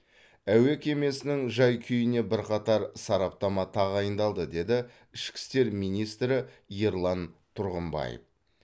әуе кемесінің жай күйіне бірқатар сараптама тағайындалды деді ішкі істер министрі ерлан тұрғымбаев